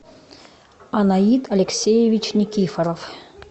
анаит алексеевич никифоров